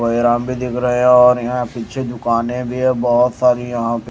बड़े अराम भी दिख रहे है और यहां पीछे दुकानें भी है बहोत सारी यहां पे--